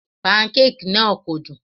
Pancake náà kò dùn.